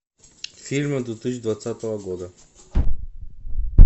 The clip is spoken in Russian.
фильмы две тысячи двадцатого года